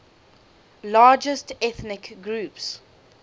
largest ethnic groups